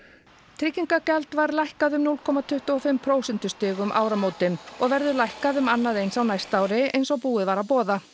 tryggingagjald var lækkað um núll komma tuttugu og fimm prósentustig um áramótin og verður lækkað um annað eins á næsta ári eins og búið var að boða